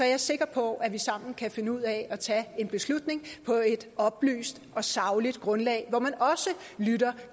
jeg sikker på at vi sammen kan finde ud af at tage en beslutning på et oplyst og sagligt grundlag hvor man også lytter